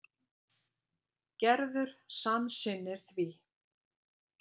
Gerður samsinnir því.